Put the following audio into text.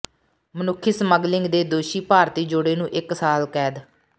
ਮਨੁੱਖੀ ਸਮੱਗਲਿੰਗ ਦੇ ਦੋਸ਼ੀ ਭਾਰਤੀ ਜੋੜੇ ਨੂੰ ਇਕ ਸਾਲ ਕੈਦ